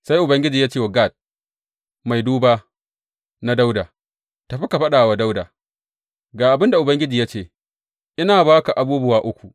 Sai Ubangiji ya ce wa Gad, mai duba na Dawuda, Tafi ka faɗa wa Dawuda, Ga abin da Ubangiji ya ce ina ba ka abubuwa uku.